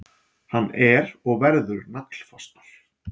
Hann er og verður naglfastur.